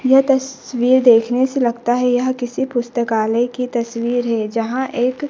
यह तस्वीर देखने से लगता है यह किसी पुस्तकालय की तस्वीर है यहां एक--